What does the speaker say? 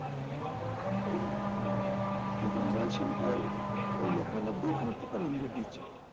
কিন্তু মৃনাল সেন এটাও ওর লেখার মধ্যেই খানিকটা তার ইঙ্গিত দিচ্ছেন